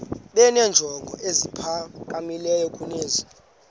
benenjongo eziphakamileyo kunezi